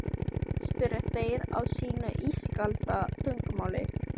spyrja þeir á sínu ískalda tungumáli.